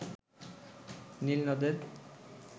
নীল নদের